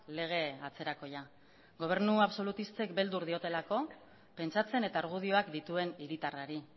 lege atzerakoia gobernu absolutistek beldur diotelako pentsatzen eta argudioak dituen hiritarrari